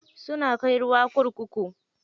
Suna kai ruwa kurkuku